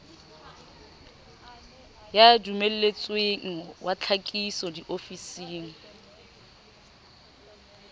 ya dumelletsweng wa tlhakiso diofising